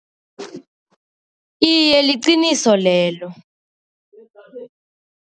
Iye, liqiniso lelo.